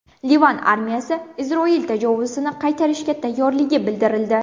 Livan armiyasi Isroil tajovuzini qaytarishga tayyorligi bildirildi.